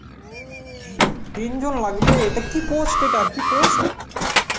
ও, তিনজন লাগবে, তা কী post এটা, কী post?